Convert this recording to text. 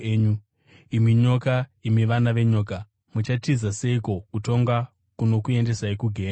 “Imi nyoka! Imi vana venyoka! Muchatiza seiko kutongwa kunokuendesai kugehena?